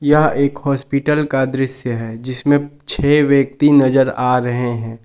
यह एक हॉस्पिटल का दृश्य है जिसमें छेह व्यक्ति नजर आ रहे हैं।